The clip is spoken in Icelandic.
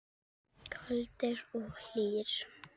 Kaldir og hlýir.